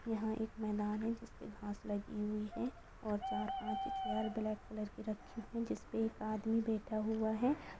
यहाँ एक मैदान है जिसपे घास लगी हुई है और चार-पाँच चेयर ब्लैक कलर की रखी है जिसपे एक आदमी बैठा हुआ है।